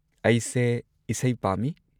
ꯑꯩꯁꯦ ꯏꯁꯩ ꯄꯥꯝꯃꯤ꯫